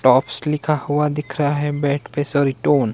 tops लिखा हुआ दिख रहा है बेड पे --